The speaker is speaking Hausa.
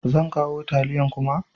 Zan kawo tayalin kuma?